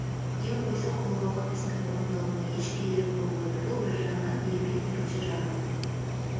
ден қойса қолға алған істің орындалуына еш кедергі болмайды бұл бір жағынан ермек екінші жағынан